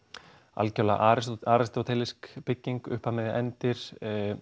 algjörlega bygging upphaf miðja endir